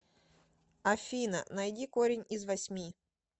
афина найди корень из восьми